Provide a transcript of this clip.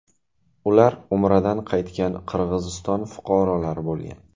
Ular Umradan qaytgan Qirg‘iziston fuqarolari bo‘lgan.